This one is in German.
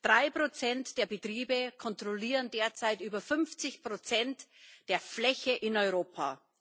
Drei Prozent der Betriebe kontrollieren derzeit über 50 Prozent der Fläche in Europa.